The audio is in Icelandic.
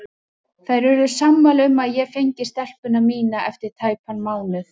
Þær urðu sammála um að ég fengi stelpuna mína eftir tæpan mánuð.